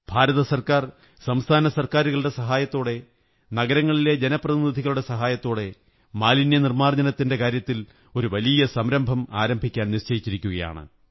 ഭാരത സര്ക്കാ ർ സംസ്ഥാന സര്ക്കാുരുകളുടെ സഹകരണത്തോടെ നഗരങ്ങളിലെ ജനപ്രതിനിധികളുടെ സഹായത്തോടെ മാലിന്യനിര്മ്മാ ര്ജ്ജ നത്തിന്റെ കാര്യത്തിൽ ഒരു വലിയം സംരംഭം ആരംഭിക്കാൻ നിശ്ചയിച്ചിരിക്കയാണ്